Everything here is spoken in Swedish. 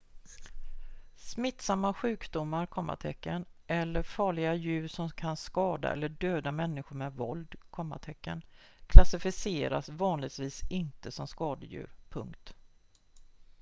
smittsamma sjukdomar eller farliga djur som kan skada eller döda människor med våld klassificeras vanligtvis inte som skadedjur